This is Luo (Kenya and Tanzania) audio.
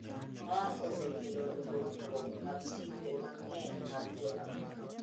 ma osekelo lokruok mag timbe mang’eny mag Joafrika.